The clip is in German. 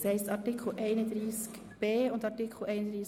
Grossrätin Machado wird diesen vorstellen.